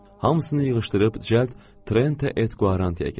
Hamısını yığışdırıb cəld Trente Etquaranteə keçdim.